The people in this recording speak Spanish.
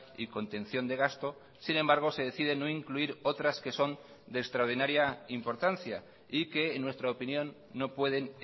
y contención de gasto sin embargo se decide no incluir otras que son de extraordinaria importancia y que en nuestra opinión no pueden